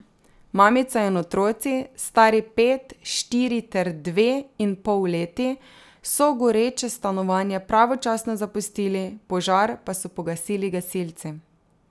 Mamica in otroci, stari pet, štiri ter dve in pol leti, so goreče stanovanje pravočasno zapustili, požar pa so pogasili gasilci.